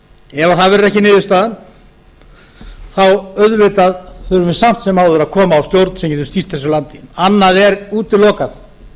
ef það verður ekki niðurstaðan þá auðvitað þurfum við samt sem áður að koma á stjórn sem getur stýrt þessu landi annað er útilokað